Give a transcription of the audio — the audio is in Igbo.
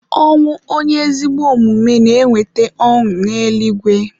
Ọnwụ onye ezigbo omume na-eweta ọṅụ n'eluigwe.